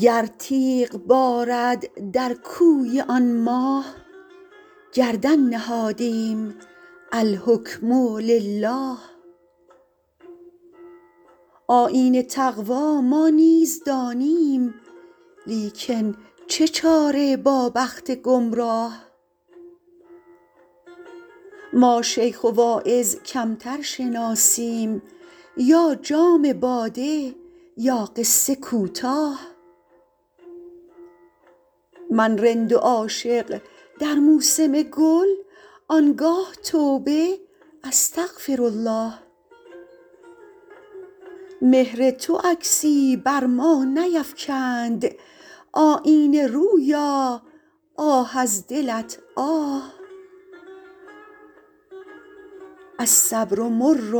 گر تیغ بارد در کوی آن ماه گردن نهادیم الحکم لله آیین تقوا ما نیز دانیم لیکن چه چاره با بخت گمراه ما شیخ و واعظ کمتر شناسیم یا جام باده یا قصه کوتاه من رند و عاشق در موسم گل آن گاه توبه استغفرالله مهر تو عکسی بر ما نیفکند آیینه رویا آه از دلت آه الصبر مر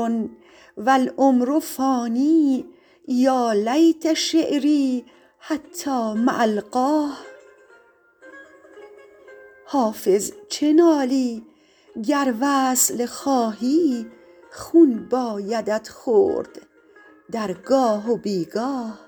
و العمر فان یا لیت شعري حتام ألقاه حافظ چه نالی گر وصل خواهی خون بایدت خورد در گاه و بی گاه